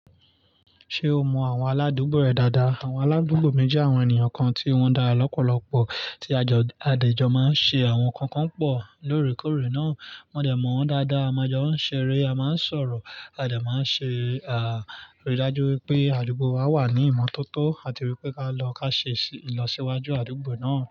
Ṣé o mọ àwọn aládùúgbò rẹ dáadáa? Àwọn aládùúgbò mi jẹ́ àwọn ènìyàn kan tí wọ́n dára lọ́pọ̀lọpọ̀ tí a jọ, a dẹ̀ jọ máa ń ṣe àwọn nǹkan kan pọ̀ lóòrèkóòrè náà. Mo dẹ̀ mọ̀ wọ́n dáadáa, a máa jọ ń ṣeré, a máa ń sọ̀rọ̀, a dẹ̀ máa ń ṣe, à, aridaju wípé àdúgbò wa wà ní ìmọ́tótó àti wípé ká lọ ka ṣe ìlọsíwájú àdúgbò náà.